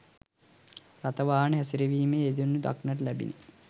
රථ වාහන හැසිරවීමේ යෙදෙනු දක්නට ලැබිණි.